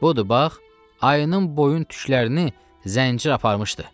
Budur, bax, ayının boyun tüklərini zəncir aparmışdı.